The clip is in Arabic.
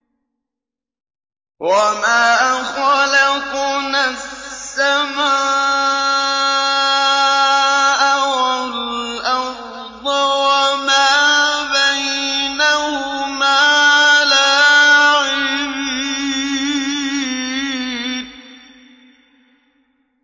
وَمَا خَلَقْنَا السَّمَاءَ وَالْأَرْضَ وَمَا بَيْنَهُمَا لَاعِبِينَ